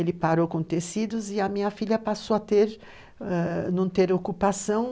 Ele parou com tecidos e a minha filha passou a não ter ocupação.